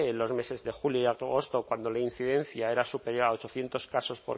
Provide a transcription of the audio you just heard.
los meses de julio y agosto cuando la incidencia era superior a ochocientos casos